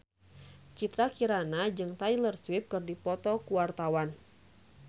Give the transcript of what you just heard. Citra Kirana jeung Taylor Swift keur dipoto ku wartawan